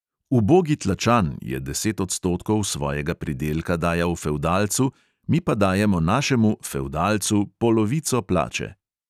"Ubogi tlačan" je deset odstotkov svojega pridelka dajal fevdalcu, mi pa dajemo našemu "fevdalcu" polovico plače.